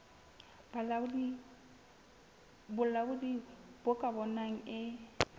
bolaodi bo ka bonang e